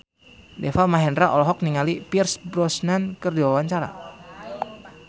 Deva Mahendra olohok ningali Pierce Brosnan keur diwawancara